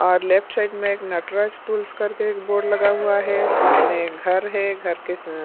और left side में एक नटरा स्कूल्स करके एक बोर्ड लगा हुआ है सामने एक घर है घर के सअ --